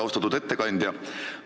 Austatud ettekandja!